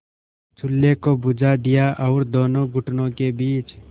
चूल्हे को बुझा दिया और दोनों घुटनों के बीच